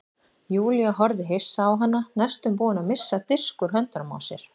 Júlía horfði hissa á hana næstum búin að missa disk úr höndunum á sér.